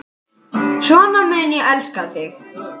Svona mun ég elska þig.